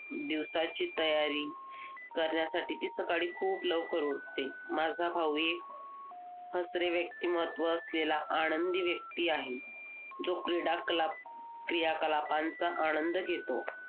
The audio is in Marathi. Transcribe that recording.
दिवसाची तयारी करण्यासाठी ती सकाळी खूप लवकर उठते. माझा भाऊ एक हसरे व्यक्तिमत्त्व असलेला आनंदी व्यक्ती आहे जो क्रीडाकला क्रियाकलाकांचा आनंद घेतो.